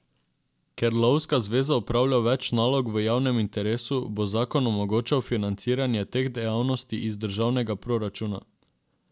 Ker Lovska zveza opravlja več nalog v javnem interesu, bo zakon omogočal financiranje teh dejavnosti iz državnega proračuna.